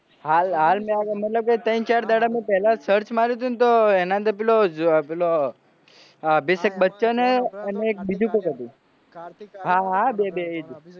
હાલ હાલ મતલબ ત્રણ ચાર દાડા પેલા search માર્યું તું તો એના અંદર પેલો અ અભિષેક બચ્ચન અને બીજું કોક હતું કાર્તિક હાહા બે એજ